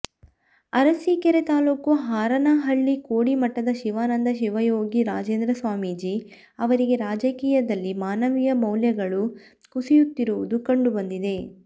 ಅರಸೀಕೆರೆ ತಾಲೂಕು ಹಾರನಹಳ್ಳಿ ಕೋಡಿಮಠದ ಶಿವಾನಂದ ಶಿವಯೋಗಿ ರಾಜೇಂದ್ರ ಸ್ವಾಮೀಜಿ ಅವರಿಗೆ ರಾಜಕೀಯದಲ್ಲಿ ಮಾನವೀಯ ಮೌಲ್ಯಗಳು ಕುಸಿಯುತ್ತಿರುವುದು ಕಂಡು ಬಂದಿದೆ